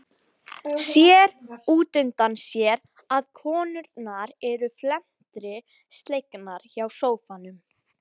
Sér útundan sér að konurnar eru felmtri slegnar hjá sófanum.